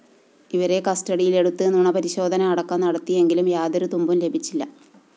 ഇവരെ കസ്റ്റഡിയിലെടുത്ത് നുണപരിശോധന അടക്കം നടത്തിയെങ്കിലും യാതൊരു തുമ്പും ലഭിച്ചില്ല